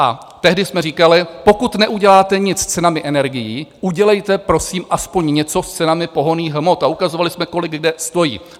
A tehdy jsme říkali: Pokud neuděláte nic s cenami energií, udělejte prosím aspoň něco s cenami pohonných hmot, a ukazovali jsme, kolik kde stojí.